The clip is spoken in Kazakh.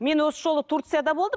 мен осы жолы турцияда болдым